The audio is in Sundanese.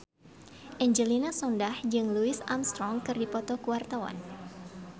Angelina Sondakh jeung Louis Armstrong keur dipoto ku wartawan